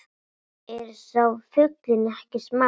Er sá fuglinn ekki smár